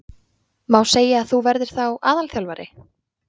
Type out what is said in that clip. Má segja að þú verðir þá aðalþjálfari?